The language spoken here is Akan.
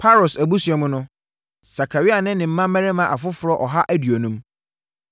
Paros abusua mu no: Sakaria ne mmarima afoforɔ ɔha aduonum.